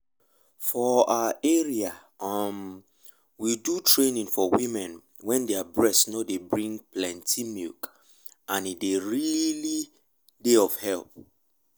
for our area um we do training for women wen their breast nor dey bring plenty milk and e really dey of help.